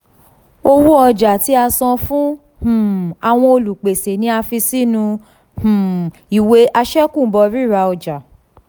owo ọja ti a san fun um awọn olupese ni a fi sinu um iwe àṣẹ̀kùbọ̀ rira ọja.